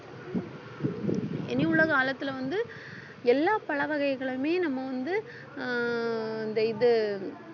இனி உலக காலத்துல வந்து எல்லா பழ வகைகளையுமே நம்ம வந்து ஆஹ் இந்த இது